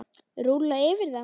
Rúlla yfir þá!